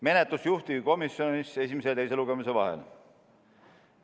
Menetlus juhtivkomisjonis esimese ja teise lugemise vahel.